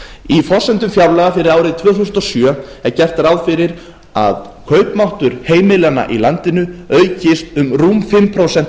í forsendum fjárlaga fyrir árið tvö þúsund og sjö er gert ráð fyrir að kaupmáttur heimilanna í landinu aukist um rúm fimm prósent